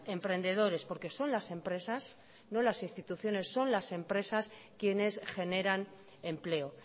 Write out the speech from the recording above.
emprendedores porque son las empresas no las instituciones son las empresas quienes generan empleo